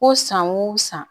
Ko san o san